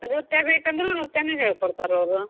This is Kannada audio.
ನೃತ್ಯ ಬೇಕಂದ್ರ ನೃತ್ಯಾನೂ ಹೇಳಕೊಡ್ತಾರ್ ಅವರು.